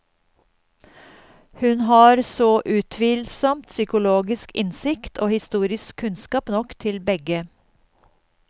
Hun har så utvilsomt psykologisk innsikt og historisk kunnskap nok til begge.